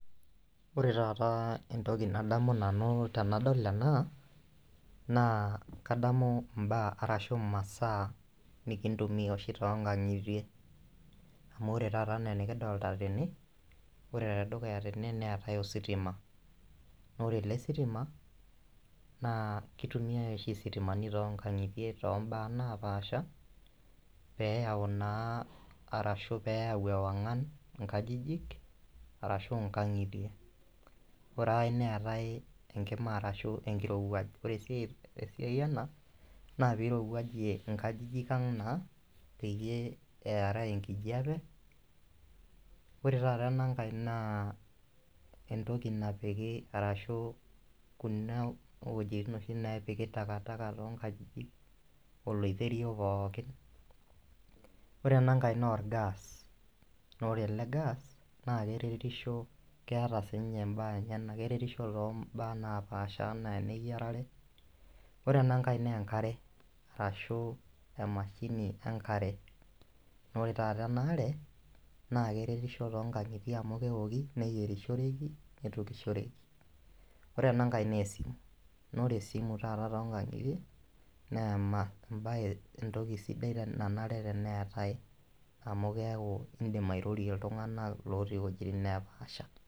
Ore taata entoki nadamu nanu tenadol ena naa kadamu imbaa arashu imasaa nikintumia oshi tonkang'itie amu ore taata enaa enikidolta tene ore tedukuya tene neetae ositima nore ele sitima naa kitumiae oshi isitimani tonkang'itie tombaa napaasha peyau naa arashu peyau ewang'an inkajijik arashu inkang'itie ore ae neetae enkima arashu enkirowuaj ore sii esiai ena naa pirowuajie inkajijik ang naa peyie earaa enkjiape ore taata enankae naa entoki napiki arashu kuna wojitin oshi nepiki takataka tonkajijik oloiterio pookin ore enankae naa or gas nore ele gas naa keretisho keeta siinye imbaa enyenak keretisho tombaa napaasha enaa eneyiarare ore enankae naa enkare arashu emashini enkare nore taata ena are naa keretisho tonkang'itie amu kewoki neyierishoreki nitukishoreki ore enankae naa esimu nore esimu taata tonkang'itie naa ema embaye entoki sidai nanare tenetae amu keeku indim airorie iltung'anak lotii iwojitin napaasha.